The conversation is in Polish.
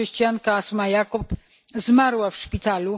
Chrześcijanka Asma Yacoob zmarła w szpitalu.